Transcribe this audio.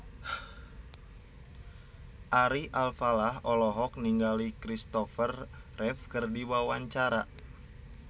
Ari Alfalah olohok ningali Kristopher Reeve keur diwawancara